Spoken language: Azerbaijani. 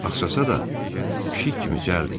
Axsasa da, pişik kimi cəld idi.